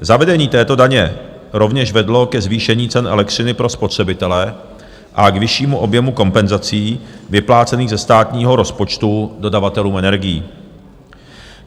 Zavedení této daně rovněž vedlo ke zvýšení cen elektřiny pro spotřebitele a k vyššímu objemu kompenzací vyplácených ze státního rozpočtu dodavatelům energií.